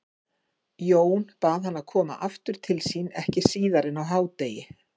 Jón bað hann að koma aftur til sín ekki síðar en á hádegi.